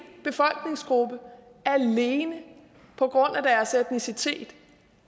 befolkningsgruppe alene på grund af deres etnicitet